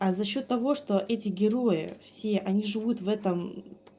а за счёт того что эти герои все они живут в этом